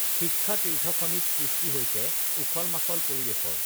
শিক্ষাতীৰ্থখনিত সৃষ্টি হৈছে উখলমাখল পৰিৱেশৰ